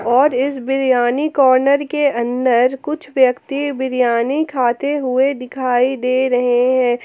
और इस बिरियानी कॉर्नर के अंदर कुछ व्यक्ति बिरयानी खाते हुए दिखाई दे रहे हैं।